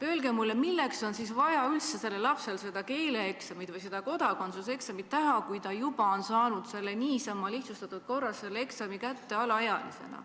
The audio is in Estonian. Öelge mulle, milleks on sellel lapsel vaja seda keeleeksamit või kodakondsuseksamit teha, kui ta juba on alaealisena kodakondsuse niisama, lihtsustatud korras kätte saanud?